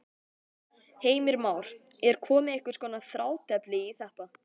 Heimir Már: Er komið einhvers konar þrátefli í þetta?